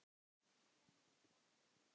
Kæra Marta María.